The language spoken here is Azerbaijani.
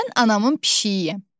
Mən anamın pişiyiyəm.